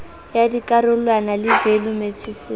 ya dikarolwana le value matices